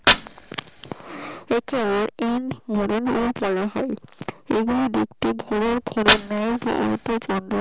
সৃষ্টি একেওপেন মাই ওপেন মাইএকে ইন ফরেনার বলা হয়